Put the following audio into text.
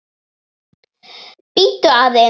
Bíddu aðeins